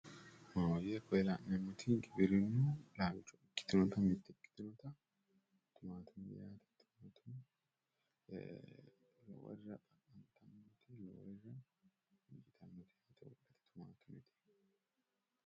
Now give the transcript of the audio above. maahoyye koye la'neemmoti giwirinnu laalcho ikkitinoti timatime afantanno .